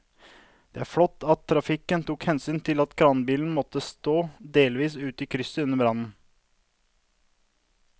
Det var flott at trafikken tok hensyn til at kranbilen måtte stå delvis ute i krysset under brannen.